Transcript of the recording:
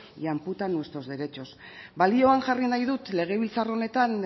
y amputa nuestros derechos balioan jarri nahi dut legebiltzar honetan